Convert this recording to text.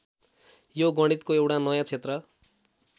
यो गणितको एउटा नयाँ क्षेत्र